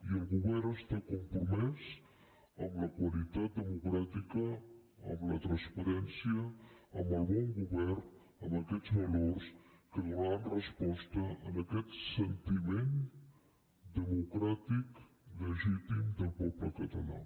i el govern està compromès amb la qualitat democràtica amb la transparència amb el bon govern amb aquests valors que donaran resposta a aquest sentiment democràtic legítim del poble català